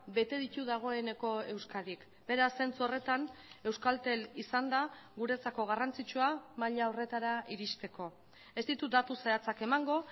bete ditu dagoeneko euskadik beraz zentzu horretan euskaltel izan da guretzako garrantzitsua maila horretara iristeko ez ditut datu zehatzak emango